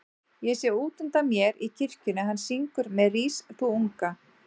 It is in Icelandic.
Ég sé útundan mér í kirkjunni að hann syngur með Rís þú unga